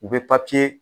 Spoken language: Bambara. U bɛ papiye